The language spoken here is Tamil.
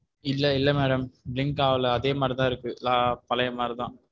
இல்ல இல்ல madam blink ஆகல அதே மாதிரிதான் இருக்கு பழைய மாதிரிதான்.